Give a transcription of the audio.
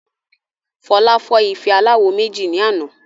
Fola fọ́ ife aláwo méjì ní àná